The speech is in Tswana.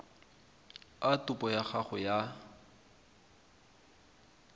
a topo ya gago ya